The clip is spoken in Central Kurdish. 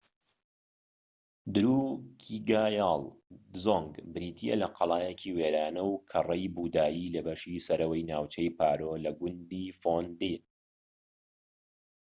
دروکیگایال دزۆنگ بریتیە لە قەڵایەکی وێرانە و کەڕەی بوودایی لە بەشی سەرەوەی ناوچەی پارۆ لە گوندی فۆندێ